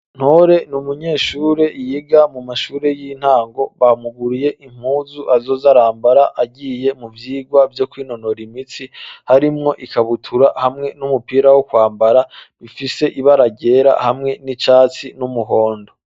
Ntore ni umunyeshure yiga mu mashure y'intango bamuguriye impuzu azoz arambara agiye mu vyirwa vyo kwinonora imitsi harimwo ikabutura hamwe n'umupira wo kwambara bifise ibararyera hamwe n'icatsi n'umuhondo.